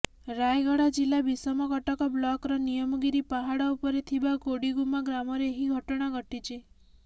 ରାୟଗଡା ଜିଲ୍ଲା ବିଷମକଟକ ବ୍ଲକର ନିୟମଗିରି ପାହାଡ ଉପରେ ଥିବା କୋଡିଗୁମ୍ମା ଗ୍ରାମରେ ଏହି ଘଟଣା ଘଟିଛି